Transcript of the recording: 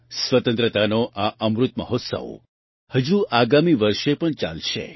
સ્વતંત્રતાનો આ અમૃત મહોત્સવ હજુ આગામી વર્ષ પણ ચાલશે